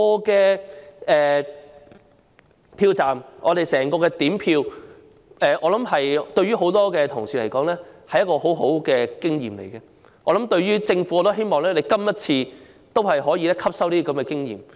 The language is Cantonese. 在票站點票的整個過程，我想對於很多同事而言，是一個很好的經驗，我亦希望政府今次能夠汲收經驗。